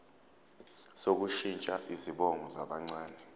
sokushintsha izibongo zabancane